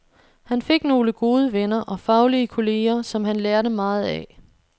Han fik nogle gode venner og faglige kolleger, som han lærte meget af.